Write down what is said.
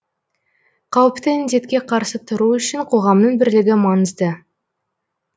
қауіпті індетке қарсы тұру үшін қоғамның бірлігі маңызды